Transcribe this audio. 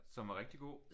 Som var rigtig god